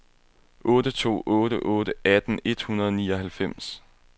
otte to otte otte atten et hundrede og nioghalvfems